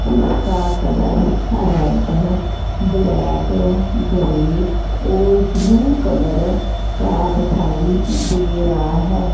जिसका colour red black grey और blue colour का दखाई दे रहा है।